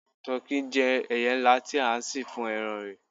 tọki je ẹyẹ nla ti a sìn fún eran rẹ